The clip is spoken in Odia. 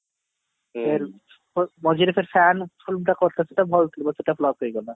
ମଝିରେ ଫେରେ fan film ଟେ କରିଥିଲା ସେଟା flop ହେଇଗଲା